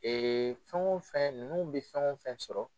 Ee fɛn o fɛn ninnu bɛ fɛn o fɛn sɔrɔ